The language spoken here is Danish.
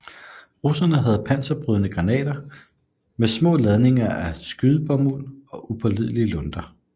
Russerne havde panserbrydende granater med små ladninger af skydebomuld og upålidelige lunter